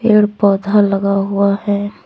पेड़ पौधा लगा हुआ है।